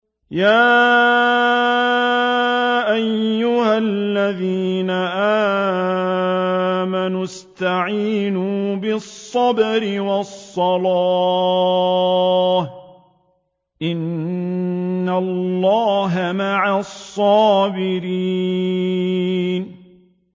يَا أَيُّهَا الَّذِينَ آمَنُوا اسْتَعِينُوا بِالصَّبْرِ وَالصَّلَاةِ ۚ إِنَّ اللَّهَ مَعَ الصَّابِرِينَ